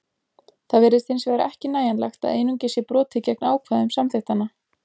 Það virðist hins vegar ekki nægjanlegt að einungis sé brotið gegn ákvæðum samþykktanna.